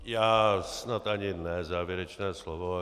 Já snad ani ne závěrečné slovo.